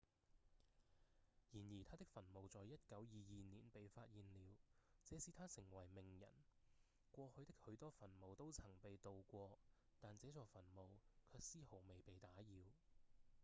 然而他的墳墓在1922年被發現了這使他成為名人過去的許多墳墓都曾被盜過但這座墳墓卻絲毫未被打擾